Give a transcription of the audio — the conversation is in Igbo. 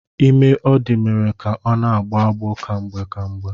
Ime ọ dị mere ka ọ na-agbọ agbọọ kwamgbe kwamgbe.